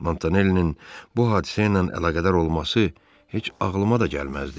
Montanelli'nin bu hadisəylə əlaqədar olması heç ağlıma da gəlməzdi.